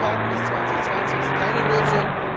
Lösung sein. Aber nur zu warten bis 2020, ist